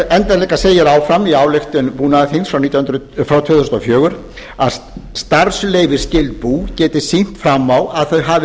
enda líka segir áfram í ályktun búnaðarþings frá tvö þúsund og fjögur þriðja að starfsleyfisskyld bú geti sýnt fram á að þau hafi